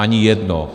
Ani jedno.